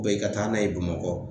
i ka taa n'a ye Bamakɔ.